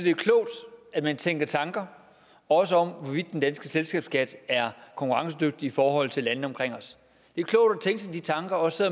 det er klogt at man tænker tanker også om hvorvidt den danske selskabsskat er konkurrencedygtig i forhold til landene omkring os det er klogt at tænke sig de tanker også